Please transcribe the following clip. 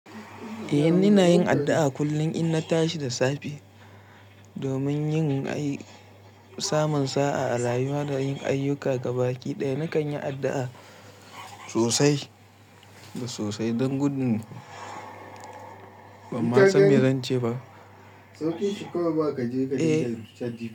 Eh, ina yin addu'a kullum in na tashi da safe domin yin nasa samun sa'a a rayuwa da yin ayyuka gaba ɗaya. Na kan yi addu'a sosai da sosai don gudun. Ban ma san me zan ce ba. Sauƙin shikawai ba ka je ka ji.